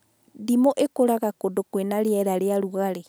Ndimũ ĩkũraga wega kũndũ kwĩna rĩera rĩa rugarĩ